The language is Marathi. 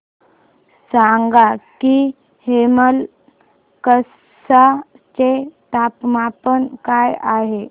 सांगा की हेमलकसा चे तापमान काय आहे